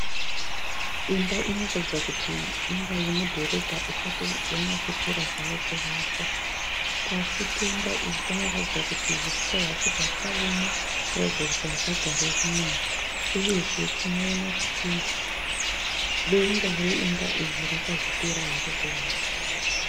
Imba inoratidza kiti imba iri mudhorobha isati yanyatsopera zvayo kuvakwa. Pasi pemba iyi panoratidza kuti huswa hwacho hwakaoma kuratidza kuti hapagari vanhu uyezve tinoona kuti denga remba iyi rakazopera haro kuvakwa.